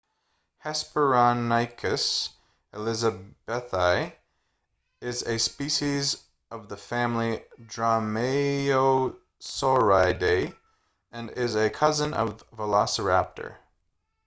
hesperonychus elizabethae is a species of the family dromaeosauridae and is a cousin of velociraptor